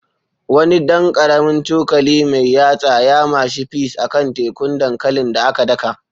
Wani dan karamin cokali mai yatsa ya mashi peas a kan tekun dankalin da aka daka.